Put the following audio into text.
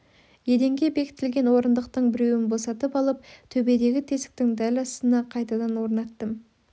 еденге бекітілген орындықтың біреуін босатып алып төбедегі тесіктің дәл астына қайтадан орнаттым